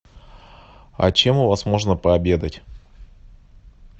а чем у вас можно пообедать